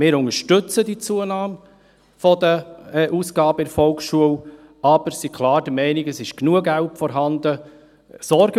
Wir unterstützen die Zunahme der Ausgaben für die Volksschule, sind aber klar der Meinung, dass bereits genügend Geld vorhanden ist.